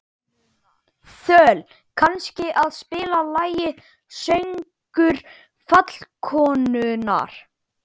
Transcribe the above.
Þöll, kanntu að spila lagið „Söngur fjallkonunnar“?